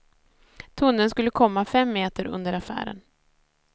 Tunneln skulle komma fem meter under affären.